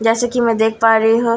जैसे कि मैं देख पा रही ह--